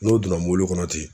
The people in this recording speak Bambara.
N n'o donna mobili kɔnɔ ten